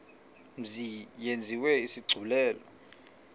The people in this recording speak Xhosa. mzi yenziwe isigculelo